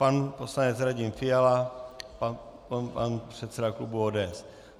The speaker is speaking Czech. Pan poslanec Radim Fiala, pak předseda klubu ODS.